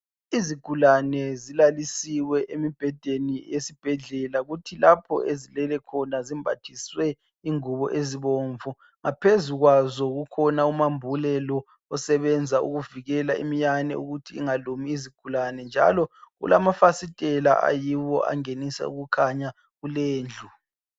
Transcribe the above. Izigulane zilalisiwe emibhedeni esibhedlela kuthi lapho ezilele khona zimbathiswe ingubo ezibomvu phezu kwazo kukhona umambule lo osebenza ukuvikela iminyane ukuthi ingalumi izigulane njalo kulamafasistela ayiwo angenisa ukukhanya kuleyondlu.